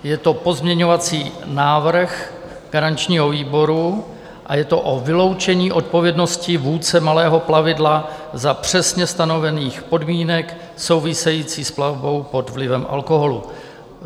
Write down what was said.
Je to pozměňovací návrh garančního výboru a je to o vyloučení odpovědnosti vůdce malého plavidla za přesně stanovených podmínek souvisejících s plavbou pod vlivem alkoholu.